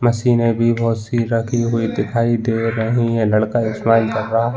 मशीने भी बहुत सी रखी हुई दिखाई दे रहीं हैं लड़का एक स्माइल कर रहा है ।